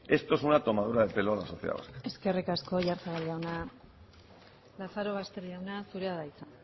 esto es una tomadura de pelo exagerado eskerrik asko oyarzabal jauna lazarobaster jauna zurea da hitza